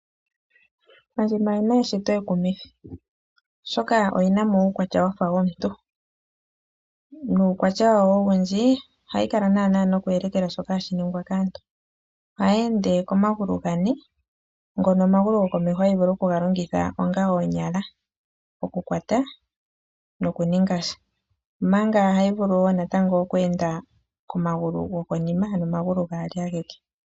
Ondjima oyi na eshito ekumithi, oshoka oyi na mo uukwatya wa fa womuntu. Uukwatya wawo owundji ohayi kala naanaa noku elekela shoka hashi ningwa kaantu. Ohayi ende komagulu gane ngono omagulu gokomeho hayi vulu okuga longongitha onga oonyala, okukwata nokuninga sha, omanga ohayi vulu natango oku enda komagulu gokonima, ano omagulu gaali ageke.